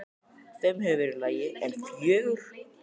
Fimm hefði verið í lagi, en fjögur?!?!?